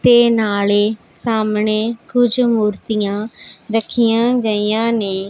ਤੇ ਨਾਲੇ ਸਾਹਮਣੇ ਕੁਝ ਮੂਰਤੀਆਂ ਰੱਖਿਆਂ ਗਈਆਂ ਨੇਂ।